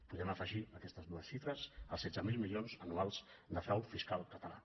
podem afe·gir a aquestes dues xifres els setze mil milions anuals de frau fiscal català